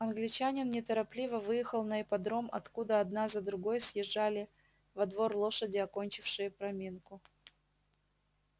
англичанин неторопливо выехал на ипподром откуда одна за другой съезжали во двор лошади окончившие проминку